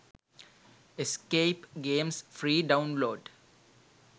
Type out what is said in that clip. escape games free download